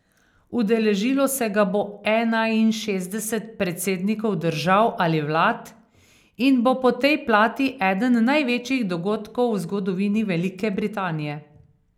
Udeležilo se ga bo enainšestdeset predsednikov držav ali vlad in bo po tej plati eden največjih dogodkov v zgodovini Velike Britanije.